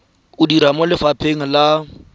o dira mo lefapheng la